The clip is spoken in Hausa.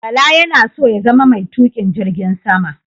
Bala yana so ya zama mai tuƙin jirgin sama.